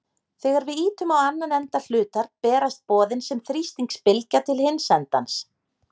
Þegar við ýtum á annan enda hlutar berast boðin sem þrýstingsbylgja til hins endans.